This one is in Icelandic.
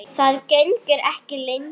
Það gengur ekki lengur.